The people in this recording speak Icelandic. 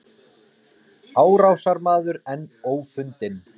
Árásarmaður enn ófundinn